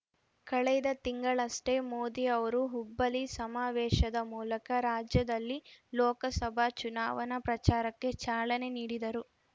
ಕಳೆದ ತಿಂಗಳಷ್ಟೇ ಮೋದಿ ಅವರು ಹುಬ್ಬಳ್ಳಿ ಸಮಾವೇಶದ ಮೂಲಕ ರಾಜ್ಯದಲ್ಲಿ ಲೋಕಸಭಾ ಚುನಾವಣಾ ಪ್ರಚಾರಕ್ಕೆ ಚಾಲನೆ ನೀಡಿದರು